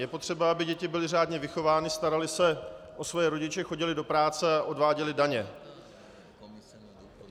Je potřeba, aby děti byly řádně vychovány, staraly se o svoje rodiče, chodily do práce a odváděly daně.